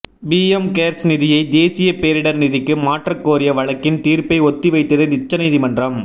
PM cares நிதியை தேசிய பேரிடர் நிதிக்கு மாற்றக் கோரிய வழக்கின் தீர்ப்பை ஒத்திவைத்தது உச்சநீதிமன்றம்